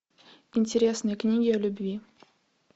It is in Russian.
интересные книги о любви